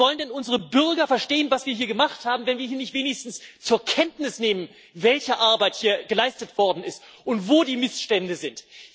Wie wollen denn unsere Bürger verstehen, was wir gemacht haben, wenn hier nicht wenigstens zur Kenntnis genommen wird, welche Arbeit hier geleistet worden ist und wo die Missstände sind.